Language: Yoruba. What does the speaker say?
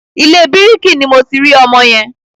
Ilé bíkìrì ni mo ti rí ọmọ yẹn.